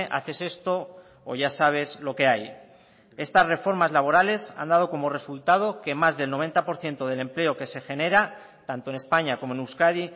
haces esto o ya sabes lo que hay estas reformas laborales han dado como resultado que más del noventa por ciento del empleo que se genera tanto en españa como en euskadi